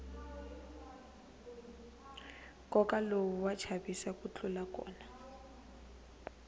nkova lowu wa chavisa ku tlula kona